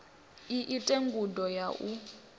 i ite ngudo ya u